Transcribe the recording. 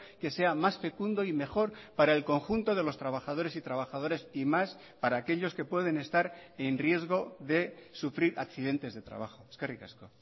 que sea más fecundo y mejor para el conjunto de los trabajadores y trabajadores y más para aquellos que pueden estar en riesgo de sufrir accidentes de trabajo eskerrik asko